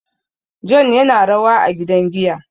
John yana rawa a gidan giya